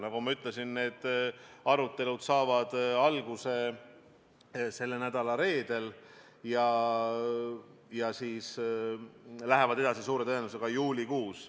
Nagu ma ütlesin, saavad need arutelud alguse selle nädala reedel ja lähevad suure tõenäosusega edasi juulikuus.